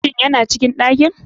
Shin yana cikin ɗakin.